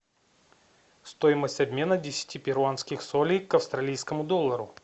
стоимость обмена десяти перуанских солей к австралийскому доллару